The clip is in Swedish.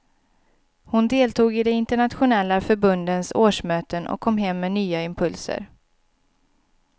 Hon deltog i de internationella förbundens årsmöten och kom hem med nya impulser.